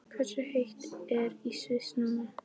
Hversu heitt er í Sviss núna?